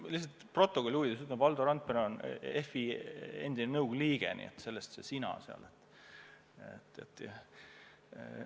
Ma lihtsalt stenogrammi huvides ütlen, et Valdo Randpere on endine FI nõukogu liige, nii et sellest see sina peal olemine.